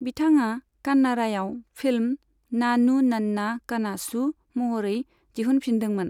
बिथाङा कान्नाड़ायाव फिल्म 'नानू नन्ना कनासू' महरै दिहुनफिनदोंमोन।